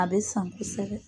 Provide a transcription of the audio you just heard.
A bɛ san kosɛbɛ.